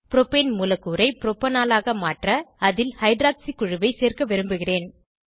propane மூலக்கூறை propanol ஆக மாற்ற அதில் ஹைட்ராக்சி குழுவை சேர்க்க விரும்புகிறேன்